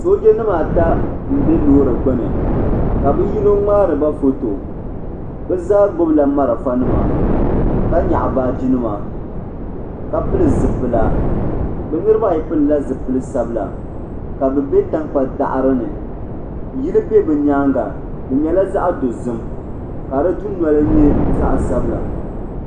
Sooja nima ata m be loori gbini ka bɛ yino ŋmaari ba foto bɛ zaa gbibila marafa nima ka nyaɣi baagi nima ka pili zipila bɛ niriba ayi pilila zipili sabla ka bɛ be tankpaɣu daɣarini yili be bɛ nyaanga di nyɛla zaɣa dozim ka di dunoli nyɛ zaɣa sabla.